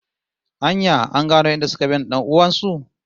An ya an gano inda suka binne dan'uwan su?